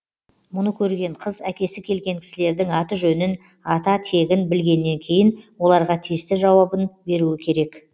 мұны көрген қыз әкесі келген кісілердің аты жөнін ата тегін білгеннен кейін оларға тиісті жауабын беруі керек